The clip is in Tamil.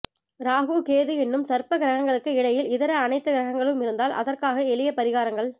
ராகு கேது என்னும் சர்ப்ப கிரகங்களுக்கு இடையில் இதர அனைத்து கிரகங்களும் இருந்தால் அதற்காக எளிய பரிகாரங்கள்